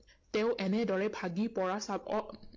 তেওঁ এনেদৰে ভাগি পৰা চাব আহ